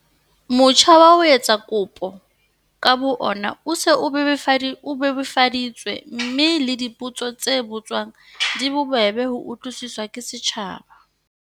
Motjha wa ho etsa kopo ka bo ona o se o bebofaditswe mme le dipotso tse botswang di bobebe ho utlwisiswa ke setjhaba.